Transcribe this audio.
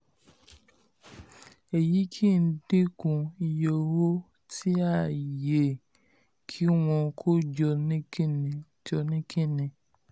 èyí ń dínkù iye owó tí a yẹ kí wọ́n kó jọ ní kínní. jọ ní kínní.